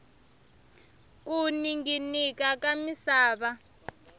ku ninginika ka misava